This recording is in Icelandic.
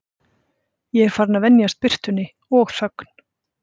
Ég er farinn að venjast birtunni og þögn